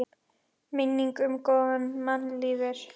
Minning um góðan mann lifir.